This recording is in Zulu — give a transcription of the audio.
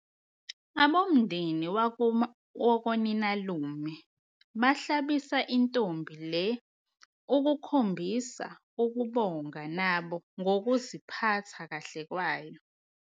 Abomndeni wakoninalume bahlabisa intombi le ukukhombisa ukubonga nabo ngokuziphatha kahle kwayo.